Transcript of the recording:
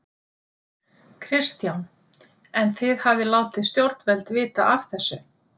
Kristján: En þið hafið látið stjórnvöld vita af þessu?